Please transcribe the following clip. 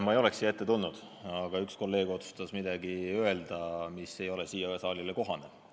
Ma ei oleks siia teie ette tulnud, aga üks kolleeg otsustas öelda midagi, mis ei ole sellele saalile kohane.